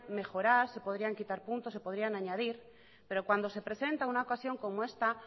mejorar se podrían quitar puntos se podrían añadir pero cuando se presenta una ocasión como esta